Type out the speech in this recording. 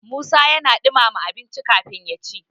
musa yana dumama abinci kafin ya ci